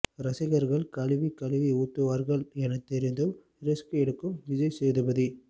ரசிகர்கள் கழுவிக் கழுவி ஊத்துவார்கள் என தெரிந்தும் ரிஸ்க் எடுக்கும் விஜய் சேதுபதி